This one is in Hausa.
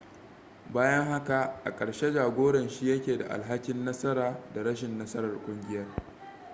bayan haka a ƙarshe jagoran shi yake da alhakin nasara da rashin nasarar kungiyar